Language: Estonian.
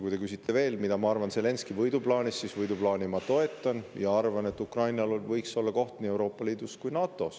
Kui te küsite veel, mida ma arvan Zelenskõi võiduplaanist, siis võiduplaani ma toetan ja arvan, et Ukrainal võiks olla koht nii Euroopa Liidus kui ka NATO‑s.